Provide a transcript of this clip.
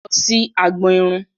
Lọ sí agbọn irun!